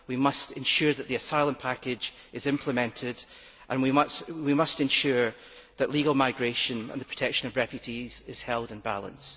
We must ensure that the asylum package is implemented, and we must ensure that legal migration and the protection of refugees are held in balance.